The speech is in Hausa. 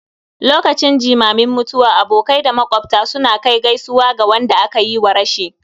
lokacin jimamin mutuwa abokai da makwabta suna kai gaisuwa ga wadanda aka yiwa rashi